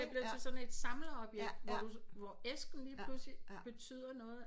Det bliver til sådan et samleobjekt hvor du hvor æsken lige pludselig betyder noget